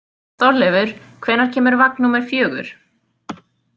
Þorleifur, hvenær kemur vagn númer fjögur?